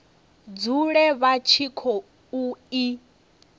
dzule vha tshi khou i